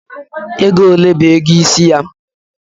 Ego ole bu ego isi ya?